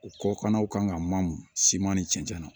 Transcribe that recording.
U kɔkannaw kan ka mamu siman ni cɛncɛn na